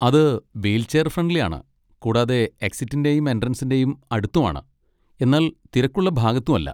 അത് wheelchair friendly ആണ്, കൂടാതെ എക്സിറ്റിന്റേയും എൻട്രൻസിന്റേയും അടുത്തും ആണ്, എന്നാൽ തിരക്കുള്ള ഭാഗത്തും അല്ല.